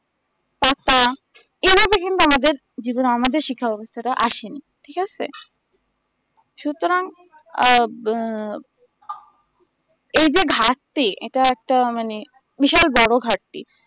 পাতা এভাবে কিন্তু আমাদের জীবনে আমাদের শিক্ষা ব্যাবস্থাটা আসে নি ঠিক আছে সুতরাং আ বো এই যে ঘাড়তি এটা একটা মানে বিশাল বড়ো ঘাড়তি